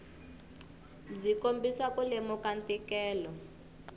byi kombisa ku lemuka ntikelo